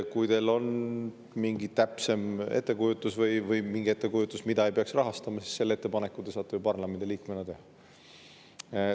Kui teil on täpsem ettekujutus või mingi ettekujutus sellest, mida ei peaks rahastama, siis selle ettepaneku te saate ju parlamendiliikmena teha.